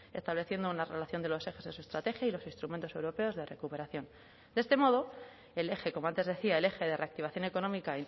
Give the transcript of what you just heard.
estableciendo una relación de los ejes de su estrategia y los instrumentos europeos de recuperación de este modo el eje como antes decía el eje de reactivación económica